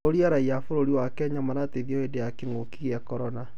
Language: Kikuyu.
ũrĩa raiya a bũrũri wa Kenya marateithio hĩndĩ ya kĩng'ũki gĩa Korona